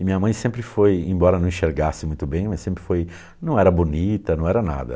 E minha mãe sempre foi, embora não enxergasse muito bem, mas sempre foi... Não era bonita, não era nada.